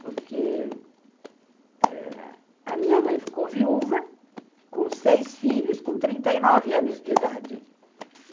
Porque eh a minha mãe ficou viúva, com seis filhos, com trinta e nove anos de idade.